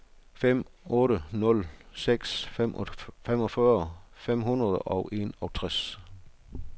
fem otte nul seks femogfyrre fem hundrede og enogtres